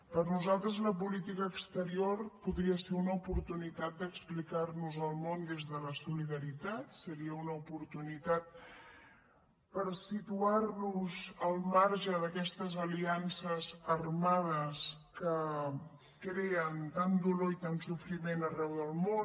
per nosaltres la política exterior podria ser una oportunitat d’explicar nos al món des de la solidaritat seria una oportunitat per situar nos al marge d’aquestes aliances armades que creen tant dolor i tant sofriment arreu del món